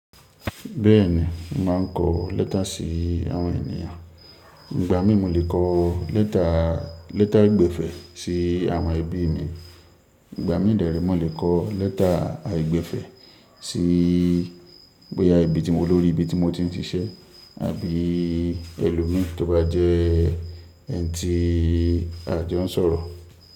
Bẹ́ẹ̀ni, mo máa ń kọ lẹ́tà síi àwọn ènìyàn. Ìgbà mí mo le kọ lẹ́tà, lẹ́tà ogbinfo sí àwọn ẹbí mi. Ìgbà mí dẹ̀ rẹ́, mò lè kọ lẹ́tà ogbinfo sí bóyá ibí tí mo tin, ibi tí mo ti ń ṣiṣẹ́ àbí ẹlòmí tó bá je ẹni tí a jọ ń sọ̀rọ̀.